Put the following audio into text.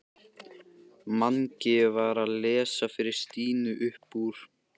Mangi var að lesa fyrir Stínu upp úr